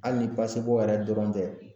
Hali ni basibɔn yɛrɛ dɔrɔn tɛ